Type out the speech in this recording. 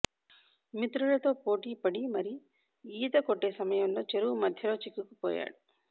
మిత్రులతో పోటీపడి మరి ఈత కొట్టే సమయంలో చెరువు మధ్యలో చిక్కుకుపోయాడు